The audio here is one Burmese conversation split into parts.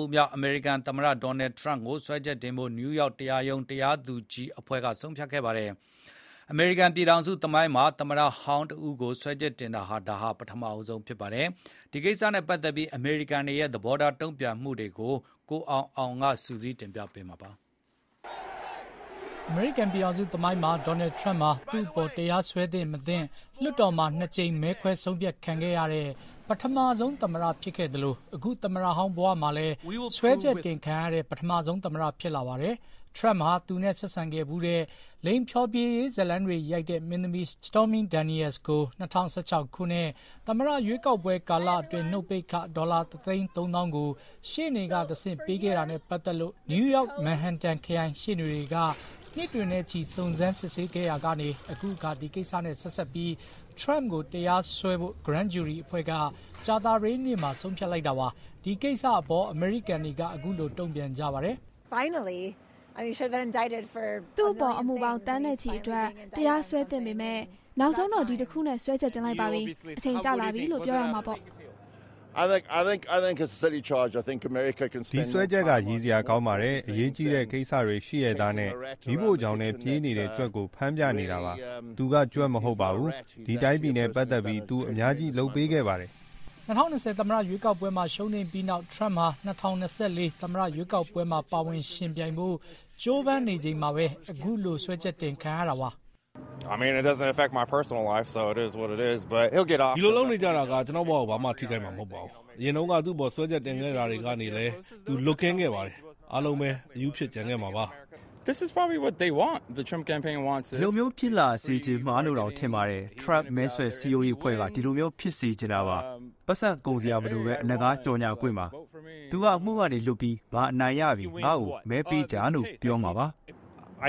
ဦးမြောက် အမေရိကန်သမ္မတ ဒေါ်နယ်ထရမ့်ကိုစွဲချက်တင်ဖို့ နယူးယောက် တရားရုံး ဂရန်းဂျူရီအဖွဲ့က ဆုံးဖြတ်လိုက်ပါတယ်။ အမေရိကန်ပြည်ထောင်စုသမိုင်းမှာ သမ္မတဟောင်းကိုစွဲချက်တင်တာ ဒါပထမဆုံးလည်း ဖြစ်ပါတယ်။ ခုလို သမ္မတဟောင်း စွဲချက်တင်ခံရတာနဲ့ပတ်သက်ပြီး အမေရိကန်တွေရဲ့ သဘောထားတုံ့ပြန်မှုတွေကို ကိုအောင်အောင်က စုစည်းတင်ပြပေးထားပါတယ်။ အမေရိကန်ပြည်ထောင်စုသမိုင်းမှာ ဒေါ်နယ်ထရမ့်ဟာ သူ့အပေါ် တရားစွဲသင့် မသင့် လွှတ်တော်မှာ ၂ ကြိမ် မဲခွဲဆုံးဖြတ်ခံခဲ့ရတဲ့ ပထမဆုံးသမ္မတဖြစ်ခဲ့သလို ခု သမ္မတဟောင်းဘဝမှာလည်း စွဲချက်တင်ခံရတဲ့ ပထမဆုံးသမ္မတ ဖြစ်လာပါတယ်။ Trump ဟာ သူနဲ့ဆက်ဆံခဲ့ဖူးတဲ့ လိင်ဖျော်ဖြေရေးဇာတ်လမ်းတွေရိုက်တဲ့ မင်းသမီး Stormy Daniels ကို ၂၀၁၆ ခုနှစ် သမ္မတရွေးကောက်ပွဲကာလအတွင်း နှုတ်ပိတ်ခ ဒေါ်လာ ၁ သိန်း ၃ သောင်းကို ရှေ့နေကတဆင့်ပေးခဲ့တာနဲ့ပတ်သက်လို့ နယူးယောက်မြို့ မန်ဟန်တန်ခရိုင်ရှေ့နေတွေက နှစ်တွေနဲ့ချီ စုံစမ်းစစ်ဆေးခဲ့ရာကနေ ဒီကိစ္စနဲ့ဆက်စပ်ပြီး Trump ကို တရားစွဲဖို့ ဂရန်းဂျူရီအဖွဲ့က ကြာသပတေးနေ့မှာ ဆုံးဖြတ်လိုက်တာပါ။ ဒီကိစ္စနဲ့ အပေါ် အမေရိကန်တွေက ခုလို တုံ့ပြန်ပါတယ်။ “သူ့အပေါ် အမှုပေါင်းသန်းနဲ့ချီအတွက် တရားစွဲသင့်ပေမယ့် နောက်ဆုံးတော့ ဒီတခုနဲ့ စွဲချက်တင်လိုက်ပါပြီ။ အချိန်ကျလာပြီလို့ ပြောရမှာပေါ့။” “ဒီစွဲချက်က ရယ်စရာကောင်းပါတယ်။ အရေးကြီးတဲ့ကိစ္စတွေရှိရဲ့သားနဲ့ မီးဖိုချောင်ထဲပြေးနေတဲ့ကြွက်ကို ဖမ်းပြနေတာပါ။ သူက ကြွက်မဟုတ်ပါဘူး။ ဒီတိုင်းပြည်နဲ့ပတ်သက်ပြီး သူအများကြီးလုပ်ပေးခဲ့ပါတယ်။” ၂၀၂၀ သမ္မတရွေးကောက်ပွဲမှာ ရှုံးနိမ့်ပြီးနောက် ထရမ့်ဟာ ၂၀၂၄ သမ္မတရွေးကောက်ပွဲမှာ ပါဝင်ယှဉ်ပြိုင်ဖို့ ကြိုးပမ်းနေချိန်မှာပဲ ခုလို တရားစွဲဆိုခံရတာပါ။ “ဒီလိုလုပ်နေကြတာက ကျနော့်ဘဝကို ဘာမှ ထိခိုက်မှာမဟုတ်ပါဘူး။ အရင်တုန်းကသူ့အပေါ် စွဲချက်တင်ခဲ့တာတွေကနေလည်း သူ လွတ်ကင်းခဲ့ပါတယ်။ အားလုံးပဲ အရူးဖြစ်ကျန်ခဲ့မှာပါ။ ” “ဒီလိုမျိုးဖြစ်လာစေချင်မှာလို့တောင်ထင်ပါတယ်။ ထရမ့်မဲဆွယ်စည်းရုံးရေးအဖွဲ့က ဒီလိုမျိုး ဖြစ်စေချင်နေတာပါ။ ပိုက်ဆံကုန်စရာမလိုဘဲ အလကားကြော်ငြာခွင့်ပါ။ သူက အမှုကနေလွတ်ပြီး ငါအနိုင်ရပြီ၊ ငါ့ကို မဲပေးကြလို့ ပြောမှာပါ။” တ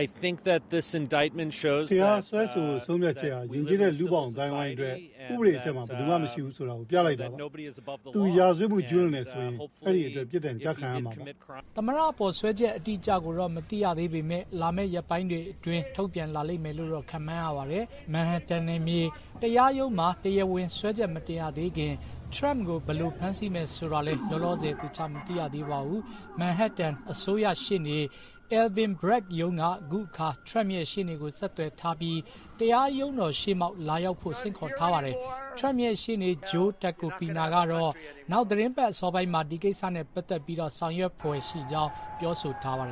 ရားစွဲဆိုဖို့ ဆုံးဖြတ်ချက်ဟာ ယဉ်ကျေးတဲ့လူ့ဘောင်အသိုင်းအဝိုင်းအတွက် ဥပဒေအထက်မှာ ဘယ်သူမှ မရှိဘူးဆိုတာကို ပြလိုက်တာပါ။ သူရာဇဝတ်မှုကျူးလွန်တယ်ဆိုရင် အဲဒီအတွက်ပြစ်ဒဏ်ကျခံရမှာပါ။ သမ္မတအပေါ် စွဲချက်အတိအကျကိုတော့ မသိရသေးပေမယ့် လာမယ့် ရက်ပိုင်းတွေအတွင်း ထုတ်ပြန်လာလိမ့်မယ်လို့တော့ ခန့်မှန်းရပါတယ်။ မန်ဟက်တန် နယ်မြေတရားရုံးမှာ တရားဝင်စွဲချက်မတင်ရသေးခင် Trump ကို ဘယ်လို ဖမ်းဆီးမယ် ဆိုတာလည်း လောလောဆယ် သေချာမသိရသေးပါဘူး။ မန်ဟက်တန် အစိုးရ Alvin Bragg ရုံးက ခုအခါ ထရမ့်ရဲ့ ရှေ့နေကို ဆက်သွယ်ထားပြီး တရားရုံးတော်ရှေ့မှောက် လာရောက်ဖို့ ဆင့်ခေါ်ထားပါတယ်။ ထရမ့်ရဲ့ရှေ့နေ Joe Tacopina ကတော့ နောက်သတင်းပတ်အစောပိုင်းမှာ ဒီကိစ္စနဲ့ ပတ်သတ်ပြီး ဆောင်ရွက်ဖွယ်ရှိကြောင်း ပြောဆိုထားပါတယ်